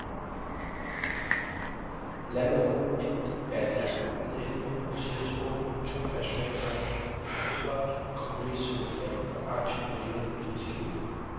Landet år et er et land med elleve officielle sprog, to nationalsange, et flot kompromissøgende flag og et aktivt og levende politisk klima.